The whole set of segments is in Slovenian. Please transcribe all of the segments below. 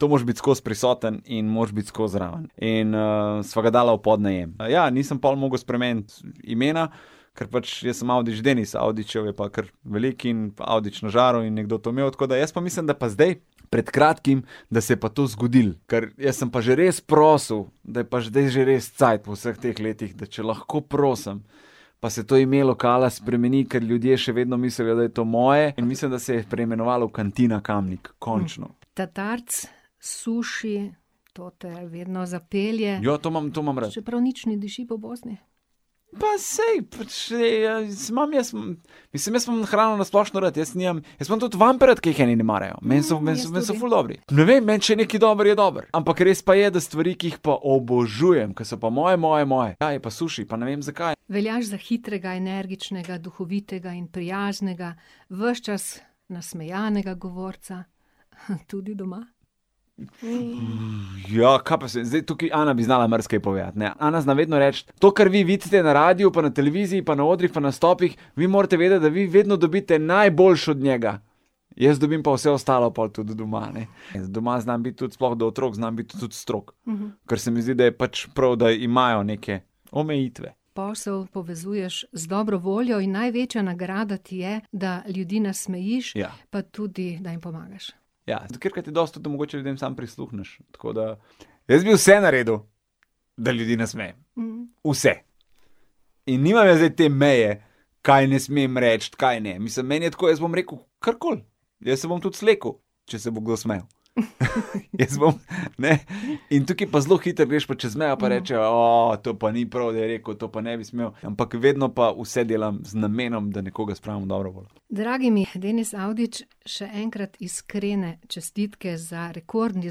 To moraš biti skozi prisoten in moraš biti skozi zraven. In, sva ga dala v podnajem, nisem pol mogel spremeniti imena, kar pač jaz sem Avdić, Denis Avdićev je pa kar veliko, in Avdić na žaru je nekdo to imel, tako da jaz pa mislim, da pa zdaj pred kratkim, da se je pa to zgodilo. Ker jaz sem pa že res prosil, da je pa zdaj že res cajt po vseh teh letih, da če lahko prosim, pa se to ime lokala spremeni, ker ljudje še vedno mislijo, da je to moje, in mislim, da se je preimenoval v Cantina Kamnik. Končno. Tatarec, suši, to te vedno zapelje. Ja, to imam, to imam rad. Čeprav nič ne diši po Bosni. Pa saj, pač, ja, imam jaz, mislim, jaz imam hrano na splošno rad, jaz nimam ... Jaz imam tudi vampe rad, ki jih eni ne marajo. jaz tudi. Meni so, meni so, meni so ful dobri. Ne vem, meni, če je nekaj dobro, je dobro. Ampak res pa je, da stvari, ki jih pa obožujem, ker so pa moje, moje, moje, ja, je pa suši, pa ne vem, zakaj. Veljaš za hitrega, energičnega, duhovitega in prijaznega. Ves čas nasmejanega govorca. tudi doma? Ja, kaj pa jaz vem, zdaj tukaj Ana bi znala marsikaj povedati, ne, Ana zna vedno reči: "To, kar vi vidite na radiu pa na televiziji pa na odrih pa nastopih, vi morate vedeti, da vi vedno dobite najboljše od njega." Jaz dobim pa vse ostalo pol tudi doma, ne. doma znam biti tudi, sploh do otrok, znam biti tudi strog. Ker se mi zdi, da je pač prav, da imajo neke omejitve. Posel povezuješ z dobro voljo in največja nagrada ti je, da ljudi nasmejiš. Ja. Pa tudi, da jim pomagaš. Ja, tudi katerikrat je dosti to, da mogoče ljudem samo prisluhneš. Tako da, jaz bi vse naredil, da ljudi nasmejem. Vse. In nimam jaz zdaj te meje, kaj ne smem reči, kaj ne. Mislim, meni je tako, jaz bom rekel, karkoli. Jaz se bom tudi slekel, če se bo kdo smejal. Jaz bom, ne ... In tukaj pa zelo hitro greš pa čez mejo pa rečejo: to pa ni prav, da je rekel, to pa ne bi smel." Ampak vedno pa vse delam z namenom, da nekoga spravim v dobro voljo. Dragi mi, Denis Avdić, še enkrat iskrene čestitke za rekordni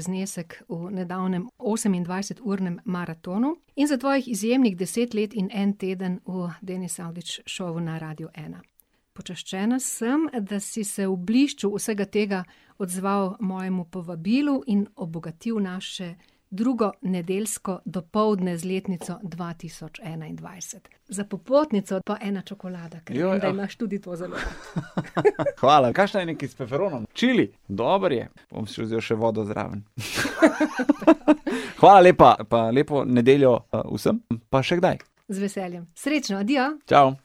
znesek v nedavnem osemindvajseturnem maratonu in za tvojih izjemnih deset let in en teden v Denis Avdić Showu na Radiu ena. Počaščena sem, da si se v blišču vsega tega odzval mojemu povabilu in obogatil naše drugo nedeljsko dopoldne z letnico dva tisoč enaindvajset. Za popotnico pa ena čokolada. Ja, ja. Ker vem, da imaš tudi to zelo rad. hvala, kakšna je nekaj, s feferonom, čili? Dobro je. Bom si vzel še vodo zraven. Hvala lepa pa lepo nedeljo, vsem. Pa še kdaj. Z veseljem. Srečno, adijo! Čao!